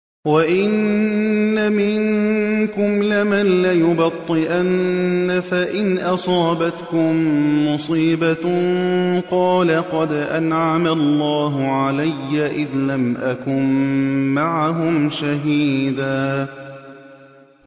وَإِنَّ مِنكُمْ لَمَن لَّيُبَطِّئَنَّ فَإِنْ أَصَابَتْكُم مُّصِيبَةٌ قَالَ قَدْ أَنْعَمَ اللَّهُ عَلَيَّ إِذْ لَمْ أَكُن مَّعَهُمْ شَهِيدًا